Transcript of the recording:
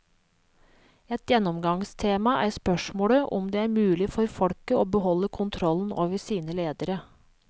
Et gjennomgangstema er spørsmålet om det er mulig for folket å beholde kontrollen over sine ledere.